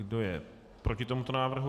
Kdo je proti tomuto návrhu?